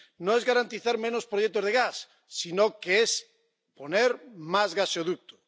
No es garantizar menos proyectos de gas, sino que es poner más gaseoductos.